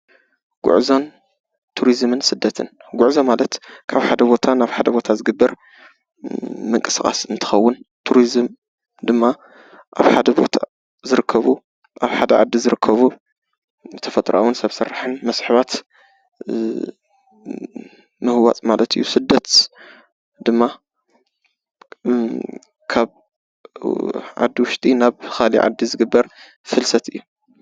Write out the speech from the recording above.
ጉዕዞ፣ ቱሪዙምን ስደትን፡- ጉዞ ማለት ካብ ሓደ ቦታ ናብ ሓደ ቦታ ዝግበር ምንቅስቃስ እንትከውን፤ ቱሪዝም ድማ ኣብ ሓደ ቦታ ዝርከቡ፣ ኣብ ሓደ ዓዲ ዝርከቡ ተፈጥራኣዊን ሰብ ስራሕን መስሕባት ምህዋፅ ማለት እዩ፡፡ ስደት ድማ ካብ ዓዲ ውሽጢ ናብ ካሊእ ዓዲ ዝግበር ፍልሰት እዩ፡፡